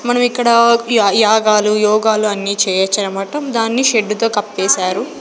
మనం ఇక్కడ య యాగాలు యోగాలు అన్ని చేయొచ్చనమాట దాన్ని షెడ్ తో కప్పేశారు.